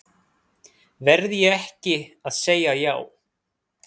Verð ég ekki að segja já?